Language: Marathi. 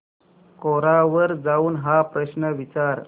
कोरा वर जाऊन हा प्रश्न विचार